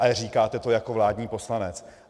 Ale říkáte to jako vládní poslanec.